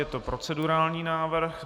Je to procedurální návrh.